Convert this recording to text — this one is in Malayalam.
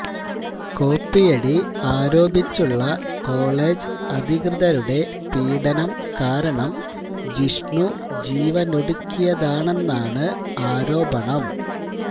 കോപ്പിയടി ആരോപിച്ചുള്ള കോളജ് അധികൃതരുടെ പീഡനം കാരണം ജിഷ്ണു ജീവനൊടുക്കിയതാണെന്നാണ് ആരോപണം